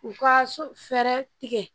U ka so fɛɛrɛ tigɛ